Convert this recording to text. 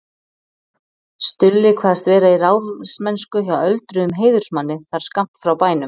Stulli kvaðst vera í ráðsmennsku hjá öldruðum heiðursmanni þar skammt frá bænum.